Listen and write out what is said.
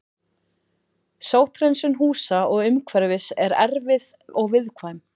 Sótthreinsun húsa og umhverfis er erfið og viðkvæm.